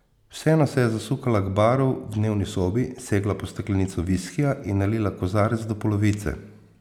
Vseeno se je zasukala k baru v dnevni sobi, segla po steklenico viskija in nalila kozarec do polovice.